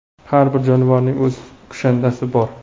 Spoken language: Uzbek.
Har bir jonivorning o‘z kushandasi bor.